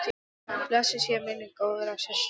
Blessuð sé minning góðrar systur.